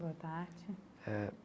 Boa tarde eh.